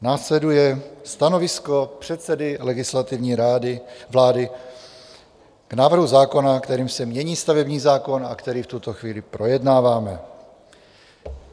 Následuje stanovisko předsedy Legislativní rady vlády k návrhu zákona, kterým se mění stavební zákon a který v tuto chvíli projednáváme.